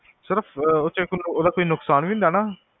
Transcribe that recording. ਸਿਰਫ ਓਚੋ, ਓਦਾ ਕੋਈ ਨੁਕਸਾਨ ਵੀ ਹੁੰਦਾ ਆ, ਹੈਨਾ?